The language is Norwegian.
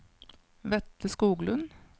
Vetle Skoglund